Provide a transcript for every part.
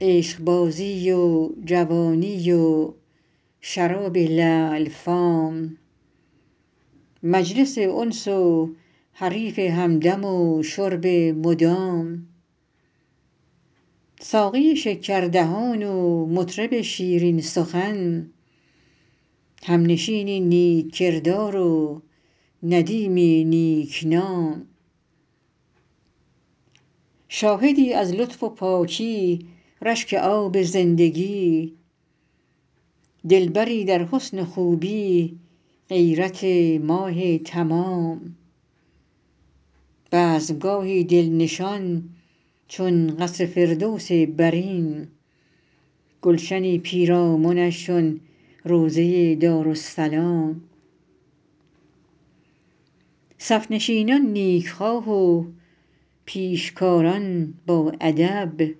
عشقبازی و جوانی و شراب لعل فام مجلس انس و حریف همدم و شرب مدام ساقی شکردهان و مطرب شیرین سخن همنشینی نیک کردار و ندیمی نیک نام شاهدی از لطف و پاکی رشک آب زندگی دلبری در حسن و خوبی غیرت ماه تمام بزم گاهی دل نشان چون قصر فردوس برین گلشنی پیرامنش چون روضه دارالسلام صف نشینان نیک خواه و پیشکاران باادب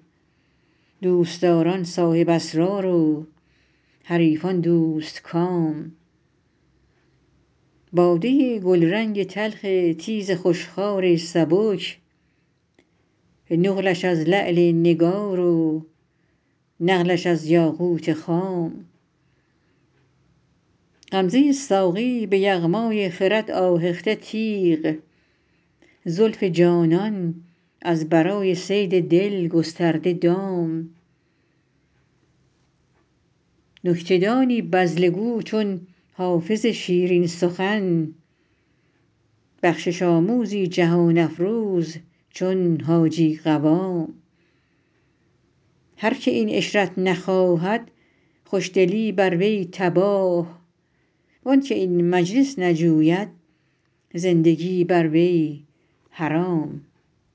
دوست داران صاحب اسرار و حریفان دوست کام باده گلرنگ تلخ تیز خوش خوار سبک نقلش از لعل نگار و نقلش از یاقوت خام غمزه ساقی به یغمای خرد آهخته تیغ زلف جانان از برای صید دل گسترده دام نکته دانی بذله گو چون حافظ شیرین سخن بخشش آموزی جهان افروز چون حاجی قوام هر که این عشرت نخواهد خوش دلی بر وی تباه وان که این مجلس نجوید زندگی بر وی حرام